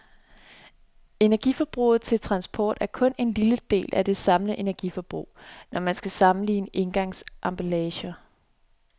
Energiforbruget til transport er kun en lille del af det samlede energiforbrug, når man skal sammenligne engangsemballager.